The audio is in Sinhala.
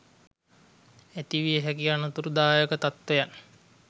ඇති විය හැකි අනතුරුදායක තත්ත්වයන්